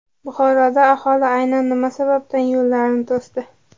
Buxoroda aholi aynan nima sababdan yo‘llarni to‘sdi?.